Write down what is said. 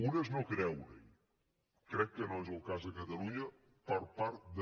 una és no creurehi crec que no és el cas a catalunya per part de